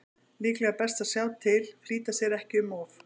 Líklega er best að sjá til, flýta sér ekki um of.